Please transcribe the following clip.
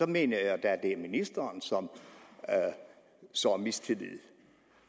mener jeg da det er ministeren som sår mistillid